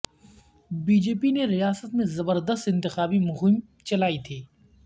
be J P نے ریاست میں زبردست انتخابی مہم چلائی تھی